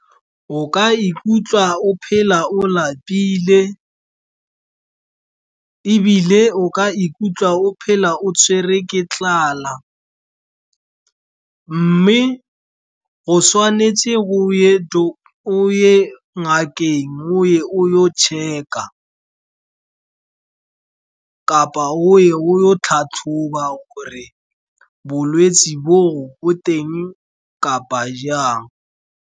O ka ikutlwa o phela o lapile, ebile o ka ikutlwa o phela o tshwerwe ke tlala. Mme go tshwanetse o ye ko ngakeng, o ye o yo check-a, kapa o ye o yo tlhatlhoba gore bolwetse bo bo teng kapa jang.